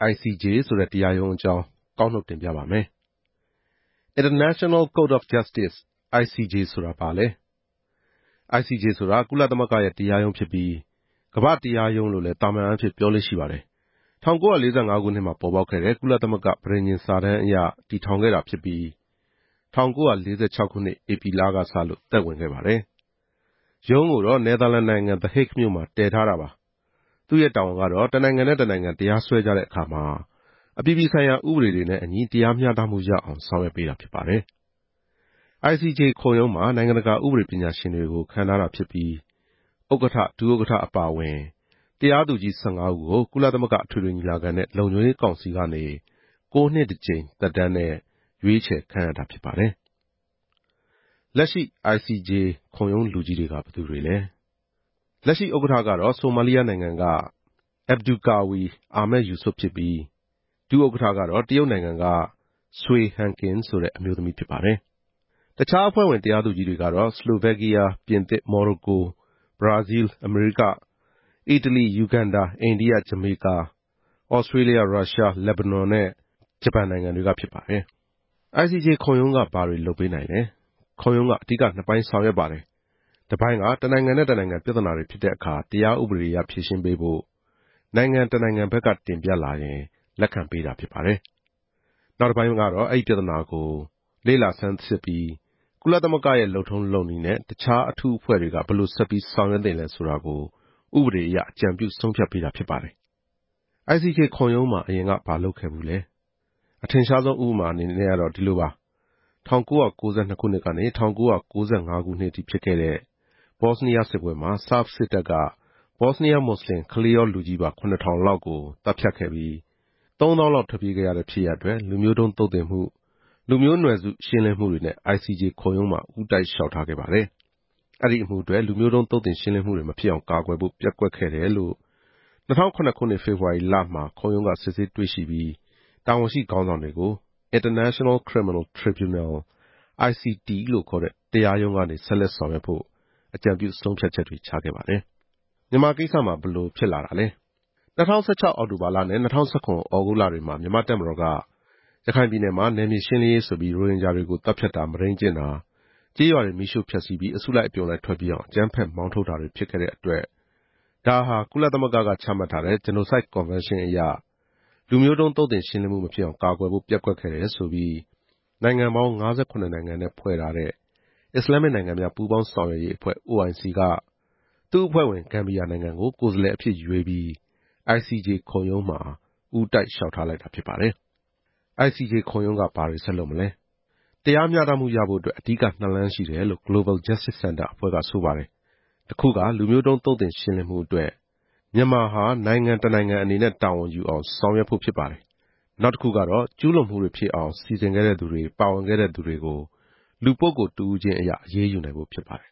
ICJ ကုလသမဂ္ဂတရားရုံးအကြောင်း သိကောင်းစရာ "International Court of Justice (ICJ) ဆိုတာဘာလဲ" International Court of Justice (ICJ) ဆိုတာ ကုလသမဂ္ဂရဲ့တရားရုံးဖြစ်ပြီး ကမ္ဘာ့တရားရုံးလို့လဲ သာမန်အားဖြင့် ပြောလေ့ရှိပါတယ်။ ၁၉၄၅ ခုနှစ်မှာပေါ်ပေါက်ခဲ့တဲ့ ကုလသမဂ္ဂ ပဋိညာဉ်စာတမ်းအရ တည်ထောင်ခဲ့တာဖြစ်ပြီး ၁၉၄၆ ခုနှစ်ဧပြီလကစလို့ သက်ဝင်ခဲ့ပါတယ်။ ရုံးကိုတော့ နယ်သာလန်နိုင်ငံ သဟိတ်ဂ်မြို့မှာ တည်ထားပါတယ်။ သူ့ရဲ့တာဝန်ကတော့ တနိုင်ငံနဲ့ တနိုင်ငံတရားစွဲကြတဲ့အခါမှာ အပြည်ပြည်ဆိုင်ရာဥပဒေတွေနဲ့အညီ တရားမျှတမှုရအောင် ဆောင်ရွက်ပေးတာဖြစ်ပါတယ်။ ICJ ခုံရုံးမှာ နိုင်ငံတကာဥပဒေပညာရှင်တွေကို ခန့်ထားတာဖြစ်ပြီး၊ ဥက္ကဋ္ဌ၊ ဒု-ဥက္ကဋ္ဌအပါအဝင် တရားသူကြီး ၁၅ ဦးကို ကုလသမဂ္ဂအထွေထွေညီလာခံနဲ့ လုံခြုံရေး ကောင်စီကနေ ၉ နှစ်တကြိမ် သက်တမ်းနဲ့ရွေးချယ်ခန့်အပ်တာဖြစ်ပါတယ်။ "လက်ရှိခုံရုံးလူကြီးတွေက ဘယ်သူတွေလဲ" ICJ ရဲ့လက်ရှိဥက္ကဋ္ဌက ဆိုမာလီယာနိုင်ငံက အက်ဗ်ဒူကာဝီ အာမက်ယူဆွတ်ဖြစ်ပြီး၊ ဒု-ဥက္ကဋ္ဌကတော့ တရုတ်နိုင်ငံက ဆွေဟန်ကင်ဆိုတဲ့ အမျိုးသမီးဖြစ်ပါတယ်။ တခြားအဖွဲ့ဝင်တရားသူကြီးတွေကတော့ ဆလိုဗက်ကီးယား၊ ​ပြင်သစ်၊ မော်ရိုကို၊ ဘရာဇီးလ်၊ အမေရိက၊ အီတလီ၊ ယူဂန်ဒါ၊ အိန္ဒိယ၊ ဂျမေကာ၊ ဩစတေးလျ၊ ရုရှား၊ လက်ဘနွန်နဲ့ ဂျပန်နိုင်ငံတွေကဖြစ်ပါတယ်။ "ခုံရုံးကဘာတွေလုပ်ပေးနိုင်လဲ" ခုံရုံးက အဓိကနှစ်ပိုင်းဆောင်ရွက်ပါတယ်။ တပိုင်းက တနိုင်ငံနဲ့ တနိုင်ငံပြဿနာတွေဖြစ်တဲ့အခါ တရား ဥပဒေအရဖြေရှင်းပေးဖို့ နိုင်ငံတနိုင်ငံဘက်က တင်ပြလာရင် လက်ခံပေးတာဖြစ်ပါတယ်။ နောက်တပိုင်း ကတော့ အဲဒီပြဿနာကို လေ့လာဆန်းစစ်ပြီး ကုလသမဂ္ဂရဲ့လုပ်ထုံးလုပ်နည်းနဲ့ တခြားအထူးအဖွဲ့တွေက ဘယ်လိုဆက်ပြီး ဆောင်ရွက်သင့်လဲဆိုတာကို ဥပဒေအရ အကြံပြုဆုံးဖြတ်ပေးတာဖြစ်ပါတယ်။ "ICJ ခုံရုံးမှာအရင်ကဘာလုပ်ခဲ့ဖူးလဲ" အထင်ရှားဆုံးဥပမာတခုကတော့ဒီလိုပါ။ ၁၉၉၂ ခုနှစ်ကနေ ၁၉၉၅ ခုနှစ်ထိဖြစ်ခဲ့တဲ့ ဘော့စနီးယား စစ်ပွဲမှာ ဆာ့ဘ်စစ်တပ်က ဘော့စနီးယား မွတ်စလင် ကလေးရောလူကြီးပါ ၇ ထောင်လောက်ကို သတ်ဖြတ်ခဲ့ပြီး ၃ သောင်းလောက်ထွက်ပြေးခဲ့ရတဲ့ ဖြစ်ရပ်အတွက် လူမျိုးတုန်းသုတ်သင်မှု၊ လူမျိုး နွယ်စုရှင်းလင်းမှုတွေနဲ့ ICJ ခုံရုံးမှာ ဦးတိုက်လျှောက်ထားခဲ့ပါတယ်။ အဲဒီအမှုအတွက် လူမျိုးတုန်း သုတ်သင်ရှင်းလင်းမှုတွေ မဖြစ်အောင်ကာကွယ်ဖို့ ပျက်ကွက်ခဲ့တယ်လို့ ၂ဝဝ၇ ဖေဖေါ်ဝါရီလမှာ ခုံရုံးက စစ်ဆေးတွေ့ရှိပြီး၊ တာဝန်ရှိခေါင်းဆောင်တွေကို International Criminal Tribunal (ICT)တရားရုံးကနေ ဆက်လက်ဆောင်ရွက်ဖို့ အကြံပြုဆုံးဖြတ်ချက်တွေ ချခဲ့ပါတယ်။ "မြန်မာကိစ္စမှာ ဘယ်လိုဖြစ်လာတာလဲ" ၂ဝ၁၆ အောက်တိုဘာလနဲ့ ၂ဝ၁၇ ဩဂုတ်လတွေမှာ မြန်မာ့တပ်မတော်က ရခိုင်ပြည်နယ်မှာ နယ်မြေ ရှင်းလင်းရေးဆိုပြီး ရိုဟင်ဂျာတွေကို သတ်ဖြတ်တာ၊ မုဒိမ်းကျင့်တာ၊ ကျေးရွာတွေ မီးရှို့ဖျက်ဆီးပြီး အစုလိုက်အပြုံလိုက် ထွက်ပြေးအောင် အကြမ်းဖက်မောင်းထုတ်တာတွေဖြစ်ခဲ့တဲ့အတွက် ဒါဟာ ကုလသမဂ္ဂက ချမှတ်ထားတဲ့ ဂျနိုဆိုက်ကွန်ဗန်းရှင်းအရ လူမျိုးတုန်း သုတ်သင်ရှင်းလင်းမှုမဖြစ်အောင် ကာကွယ်ဖို့ ပျက်ကွက်ခဲ့တယ်ဆိုပြီး နိုင်ငံပေါင်း ၅၇ နိုင်ငံနဲ့ဖွဲ့ထားတဲ့ အစ္စလာမ်မစ်နိုင်ငံများ ပူးပေါင်းဆောင်ရွက်ရေးအဖွဲ့ OIC က၊ သူ့အဖွဲ့ဝင် ဂမ်ဘီယာနိုင်ငံကို ကိုယ်စားလှယ်အဖြစ်ရွေးပြီး ICJ ခုံရုံးမှာ ဦးတိုက်လျှောက်ထားတာဖြစ်ပါတယ်။ "ICJ ခုံရုံးက ဘာဆက်လုပ်မလဲ" တရားမျှတမှုရဖို့အတွက် အဓိကနှစ်လမ်းရှိတယ်လို့ Global Justice Center အဖွဲ့က ဆိုပါတယ်။ တခုက လူမျိုးတုန်းသုတ်သင်ရှင်းလင်းမှုအတွက် မြန်မာဟာ နိုင်ငံတနိုင်ငံအနေနဲ့ တာဝန်ယူအောင် ဆောင်ရွက်ဖို့ ဖြစ်ပါတယ်။ နောက်တခုက ကျူးလွန်မှုတွေဖြစ်အောင် စီစဉ်ခဲ့တဲ့သူတွေ၊ ပါဝင်ခဲ့တဲ့သူတွေကို လူပုဂ္ဂိုလ်တဦးချင်းကို အရေးယူနိုင်ဖို့ဖြစ်ပါတယ်